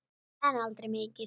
En aldrei mikið.